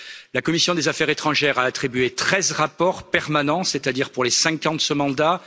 La commission des affaires étrangères a attribué treize rapports permanents, c'est à dire pour les cinq ans de ce mandat.